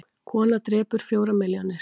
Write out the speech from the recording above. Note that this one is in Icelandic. Kona drepur fjórar milljónir